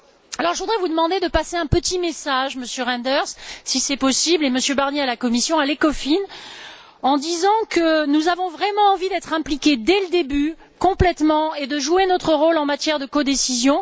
Je voudrais donc vous demander de passer un petit message, Monsieur Reynders, si c'est possible, comme Monsieur Barnier à la Commission, à l'ECOFIN, consistant à leur dire que nous avons vraiment envie d'être impliqués dès le début, complètement, et de jouer notre rôle en matière de codécision.